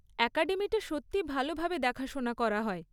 অ্যাকাডেমিটা সত্যিই ভালভাবে দেখাশোনা করা হয়।